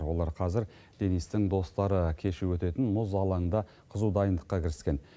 олар қазір денистің достары кеші өтетін мұз алаңында қызу дайындыққа кіріскен